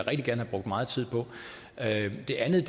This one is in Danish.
at de handlede